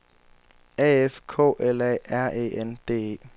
A F K L A R E N D E